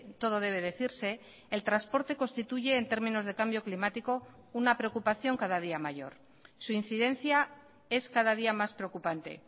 todo debe decirse el transporte constituye en términos de cambio climático una preocupación cada día mayor su incidencia es cada día más preocupante